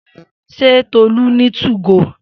Se Tolu ni 2go?